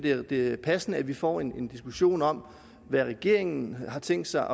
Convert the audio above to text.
at det er passende at vi får en diskussion om hvad regeringen har tænkt sig